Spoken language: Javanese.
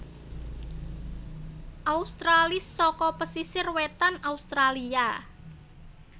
australis saka pesisir wétan Australia